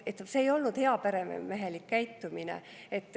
See ei olnud heaperemehelik käitumine.